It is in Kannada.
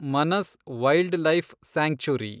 Manas wildlife sanctuary